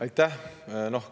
Aitäh!